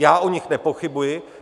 Já o nich nepochybuji.